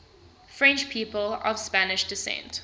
french people of spanish descent